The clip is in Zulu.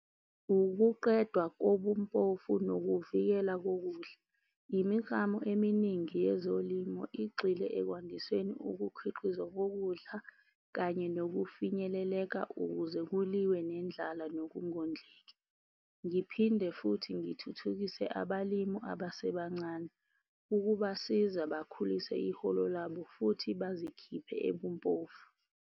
Ukuqedwa kobumpofu nokuvikela kokudla. Imiklamo eminingi yezolimo igxile ekwandisweni ukukhiqizwa kokudla, kanye nokufinyeleleka ukuze kuliwe nendlala nokungondleki. Ngiphinde futhi ngithuthukise abalimi abasebancane, ukubasiza bakhulise iholo labo, futhi bazikhiphe ebumpofu.